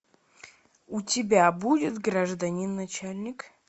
у тебя будет гражданин начальник